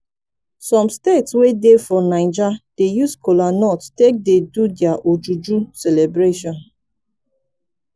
som state wey dey for naija dey use kolanut take dey do dia ojuju celebration